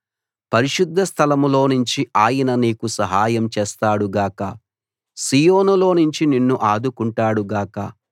పరిశుద్ధ స్థలంలోనుంచి ఆయన నీకు సహాయం చేస్తాడు గాక సీయోనులోనుంచి నిన్ను ఆదుకుంటాడు గాక